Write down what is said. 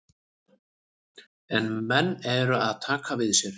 En menn eru að taka við sér.